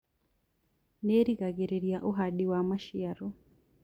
Nĩrigagĩrĩria uhandi wa maciaro